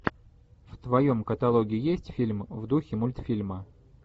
в твоем каталоге есть фильм в духе мультфильма